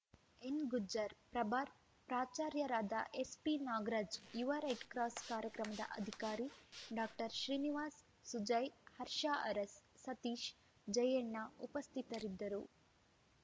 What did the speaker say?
ಎನ್‌ಗುಜ್ಜರ್‌ ಪ್ರಭಾರ ಪ್ರಾಚಾರ್ಯರಾದ ಎಸ್‌ಪಿನಾಗರಾಜ್‌ ಯುವ ರೆಡ್‌ಕ್ರಾಸ್‌ ಕಾರ್ಯಕ್ರಮದ ಅಧಿಕಾರಿ ಡಾಕ್ಟರ್ ಶ್ರೀನಿವಾಸ್‌ ಸುಜಯ್‌ ಹರ್ಷ ಅರಸ್‌ ಸತೀಶ್‌ ಜಯಣ್ಣ ಉಪಸ್ಥಿತರಿದ್ದರು